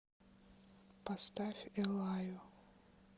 поставь эллаю